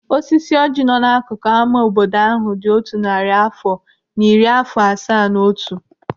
Osisi ọjị nọ n'akụkụ ama obodo ahụ dị otu narị afọ na iri afọ asaa na otu.